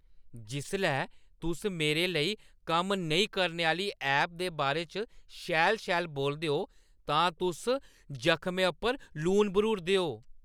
जिसलै तुस मेरे लेई कम्म नेईं करने आह्‌ली ऐप दे बारे च शैल-शैल बोलदे ओ तां तुस जखमै उप्पर लून बर्‌हूरदे ओ।